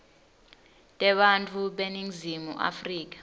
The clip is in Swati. tebantfu beningizimu afrika